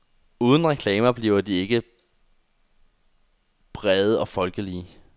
Uden reklamer bliver de ikke brede og folkelige.